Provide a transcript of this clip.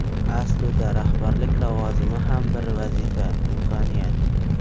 Aslida rahbarlik lavozimi ham bir vazifa, imkoniyat.